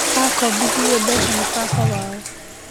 Akombithirio mbeca nĩ baba wao